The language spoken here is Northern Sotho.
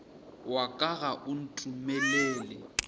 wa ka ga o ntumelele